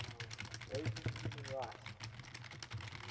asian human rights